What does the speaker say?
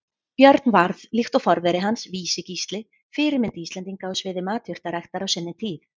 Björn varð, líkt og forveri hans Vísi-Gísli, fyrirmynd Íslendinga á sviði matjurtaræktar á sinni tíð.